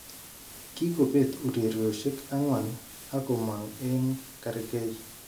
Kikobet urerioshek angwan ak komong eng kargei.